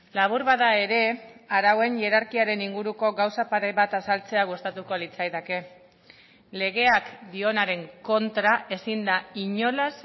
labur bada ere arauen hierarkiaren inguruko gauza pare bat azaltzea gustatuko litzaidake legeak dionaren kontra ezin da inolaz